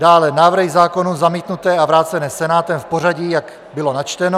Dále návrhy zákonů zamítnuté a vrácené Senátem v pořadí, jak bylo načteno.